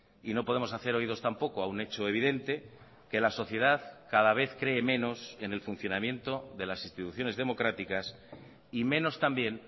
y no podemos hacer oídos tampoco a un hecho evidente que la sociedad cada vez cree menos en el funcionamiento de las instituciones democráticas y menos también